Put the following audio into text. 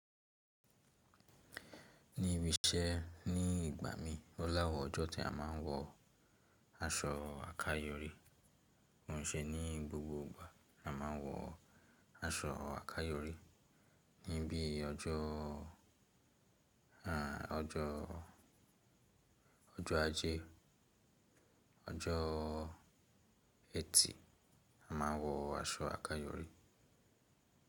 Ní ibi iṣẹ́, ní ìgbà mí oó ni áwon ọjọ́ tí a má ń wọ aṣọ àkayòrí. Ko ṣe e ní gbogbo ìgbà ni a má ń wọ aṣọ àkayòrí, ní bí i ọjọ́ ọjọ́ ọjọ́ ajẹ́, ọjọ́ Ẹtì a má ń wọ aṣọ àkayòrí.